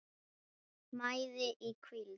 mæði í hvíld